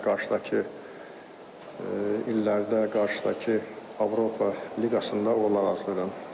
Qarşıdakı illərdə, qarşıdakı Avropa Liqasında uğurlar arzulayıram.